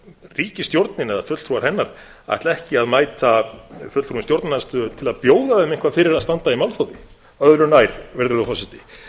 ríkisstjórnin eða fulltrúar hennar ætla ekki að mæta fulltrúum stjórnarandstöðu til að bjóða þeim eitthvað fyrir að standa í málþófi öðru nær virðulegur forseti